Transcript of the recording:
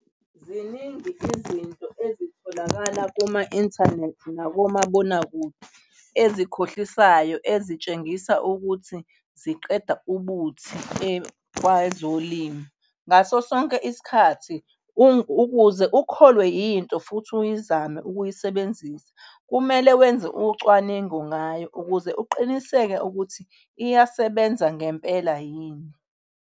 Ziningi izinto ezitholakala kuma-inthanethi nakomabonakude, ezikhohlisayo ezitshengisa ukuthi ziqeda ubuthi kwezolimo ngaso sonke isikhathi ukuze ukholwe yinto futhi uyizame ukuyisebenzisa, kumele wenze ucwaningo ngayo ukuze uqiniseke ukuthi iyasebenza ngempela yini.